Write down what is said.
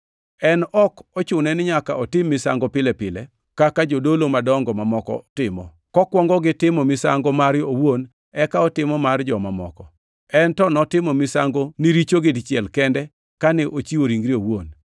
En ok ochune ni nyaka otim misango pile pile kaka jodolo madongo mamoko timo, kokuongo gi timo misango mare owuon eka otimo mar joma moko. En to notimo misango ni richogi dichiel kende kane ochiwo ringre owuon.